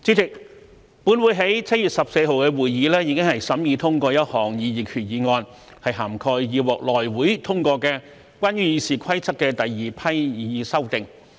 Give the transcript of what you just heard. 主席，本會在7月14日的會議已審議通過一項擬議決議案，涵蓋已獲內務委員會通過關於《議事規則》的第二批擬議修訂。